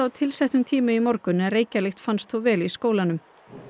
tilsettum tíma í morgun en reykjarlykt fannst þó vel í skólanum